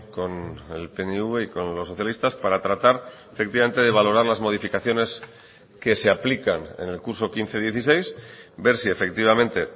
con el pnv y con los socialistas para tratar efectivamente de valorar las modificaciones que se aplican en el curso quince dieciséis ver si efectivamente